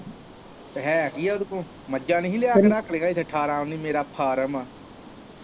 ਹੈ ਕਿ ਆ ਓਦੇ ਕੋਲ ਮੱਝਾਂ ਨੀ ਹੀ ਲਿਆ ਕੇ ਰੱਖਲੀਆਂ ਅਠਾਰਾਂ ਉੱਨੀ ਮੇਰਾ ਫਾਰਮ।